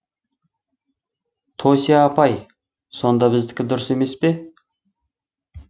тося апай сонда біздікі дұрыс емес пе